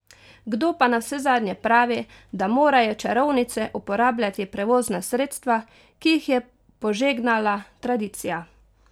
Kdo pa navsezadnje pravi, da morajo čarovnice uporabljati prevozna sredstva, ki jih je požegnala tradicija?